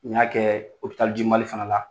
N y'a kɛɛ Hopital du Mali fana la.